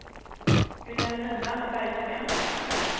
Vilhelmina Bergsten